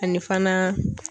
Ani fana.